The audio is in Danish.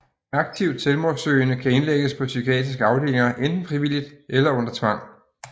Aktivt selvmordssøgende kan indlægges på psykiatriske afdelinger enten frivilligt eller under tvang